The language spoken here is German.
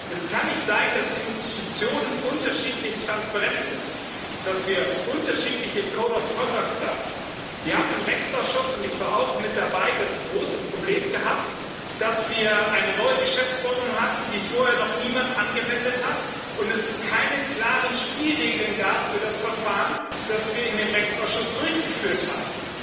Es kann nicht sein, dass Institutionen unterschiedlich transparent sind, dass wir unterschiedliche haben Wir haben im Rechtsausschuss ich war auch mit dabei das große Problem gehabt, dass wir eine neue Geschäftsordnung hatten, die vorher noch niemand angewendet hat, und es keine klaren Spielregeln gab für das Verfahren, das wir im Rechtsausschuss durchgeführt haben.